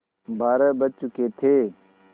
बारह बज चुके थे